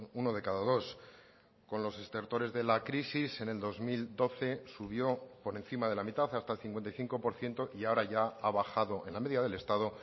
uno de cada dos con los estertores de la crisis en el dos mil doce subió por encima de la mitad hasta el cincuenta y cinco por ciento y ahora ya ha bajado en la media del estado